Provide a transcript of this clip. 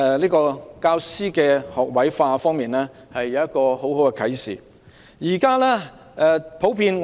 在教師學位化方面，我們從中深有體會。